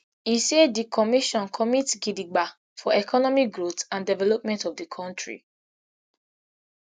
e say di commission commit gidigba for economic growth and development of di kontri